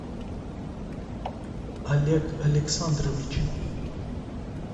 олег александрович